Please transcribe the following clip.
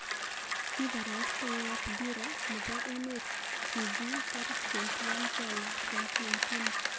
Kaparastae ap dira nepo emet tv 21.12.2018